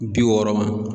Bi wɔɔrɔ ma